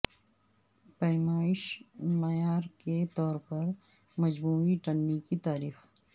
پیمائش معیار کے طور پر مجموعی ٹننی کی تاریخ